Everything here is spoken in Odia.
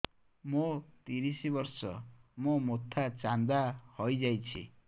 ମୋ ତିରିଶ ବର୍ଷ ମୋ ମୋଥା ଚାନ୍ଦା ହଇଯାଇଛି